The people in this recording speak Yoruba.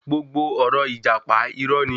Gbogbo ọ̀rọ̀ ìjàpá, irọ́ ni.